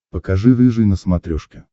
покажи рыжий на смотрешке